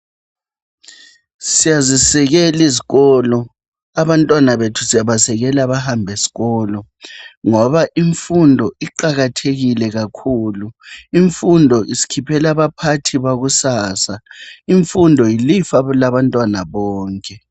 Siyazisekela izikolo, abantwana bethu siyabasekela bahambe esikolo ngoba imfundo iqakathekile kakhulu, imfundo isikhiphela abaphathi bakusasa, imfundo yilifa labantwana bonke.